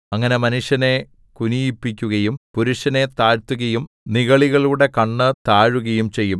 അങ്ങനെ മനുഷ്യനെ കുനിയിപ്പിക്കുകയും പുരുഷനെ താഴ്ത്തുകയും നിഗളികളുടെ കണ്ണ് താഴുകയും ചെയ്യും